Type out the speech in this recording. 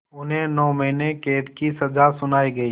उन्हें नौ महीने क़ैद की सज़ा सुनाई गई